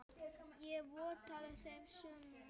Ég vottaði þeim samúð mína.